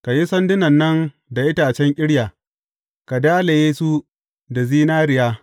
Ka yi sandunan nan da itacen ƙirya, ka dalaye su da zinariya.